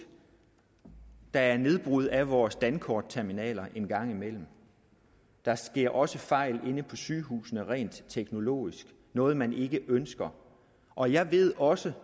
der er nedbrud af vores dankortterminaler engang imellem der sker også fejl inde på sygehusene rent teknologisk noget man ikke ønsker og jeg ved også